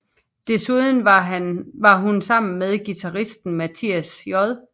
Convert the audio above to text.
Desuden har hun sammen med guitaristen Mathias J